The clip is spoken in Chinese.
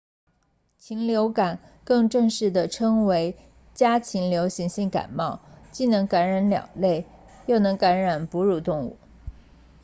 禽流感或更正式地称之为家禽流行性感冒既能感染鸟类又能感染哺乳动物